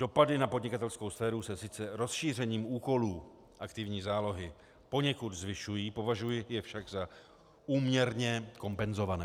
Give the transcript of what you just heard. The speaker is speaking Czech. Dopady na podnikatelskou sféru se sice rozšířením úkolů aktivní zálohy poněkud zvyšují, považuji je však za úměrně kompenzované.